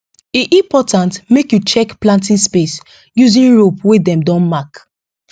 e important make you check planting space using rope wey dem don mark